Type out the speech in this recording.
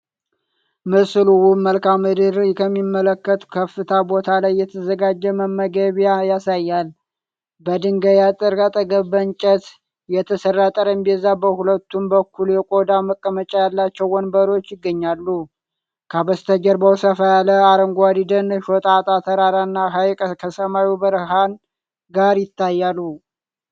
ምስሉ ውብ መልክዓ ምድርን ከሚመለከት ከፍታ ቦታ ላይ የተዘጋጀ መመገቢያን ያሳያል። በድንጋይ አጥሩ አጠገብ በእንጨት የተሰራ ጠረጴዛ፣ በሁለቱም በኩል የቆዳ መቀመጫ ያላቸው ወንበሮች ይገኛሉ። ከበስተጀርባው ሰፋ ያለ አረንጓዴ ደን፣ ሾጣጣ ተራራ እና ሐይቅ ከሰማዩ ብርሃን ጋር ይታያሉ።